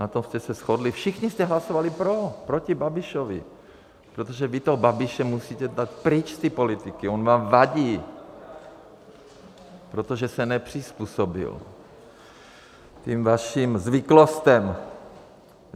Na tom jste se shodli, všichni jste hlasovali pro, proti Babišovi, protože vy toho Babiše musíte dát pryč z té politiky, on vám vadí, protože se nepřizpůsobil těm vašim zvyklostem.